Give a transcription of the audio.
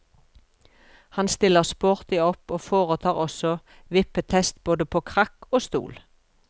Han stiller sporty opp og foretar også vippetest både på krakk og stol.